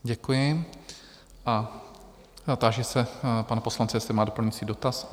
Děkuji a táži se pana poslance, jestli má doplňující dotaz?